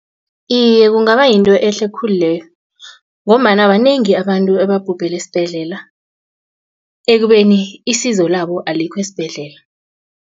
Iye, kungaba yinto ehle khulu leyo ngombana banengi abantu ebabhubhele esibhedlela ekubeni isizo labo alikho esibhedlela.